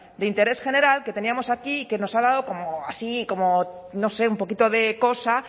de interés general que teníamos aquí y que nos ha dado como así como no sé un poquito de cosa